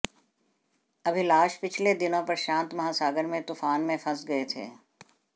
अभिलाष पिछले दिनों प्रशांत महासागर में तूफान में फंस गए थे